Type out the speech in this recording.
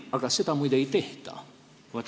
Aga seda, muide, ei tehta.